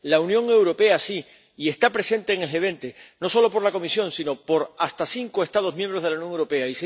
la Unión Europea, sí, y está representada en el G20 no solo por la Comisión, sino por hasta cinco Estados miembros de la Unión Europea.